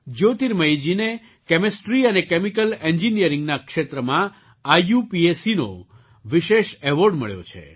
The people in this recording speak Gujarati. જ્યોતિર્મયીજીને કેમિસ્ટ્રી અને કેમિકલ ઍન્જિનિયરિંગના ક્ષેત્રમાં IUPACનો વિશેષ એવૉર્ડ મળ્યો છે